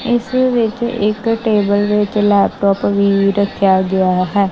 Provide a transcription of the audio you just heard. ਇਸ ਵਿੱਚ ਇੱਕ ਟੇਬਲ ਵਿੱਚ ਲੈਪਟੋਪ ਵੀ ਰੱਖਿਆ ਗਿਆ ਹੈ।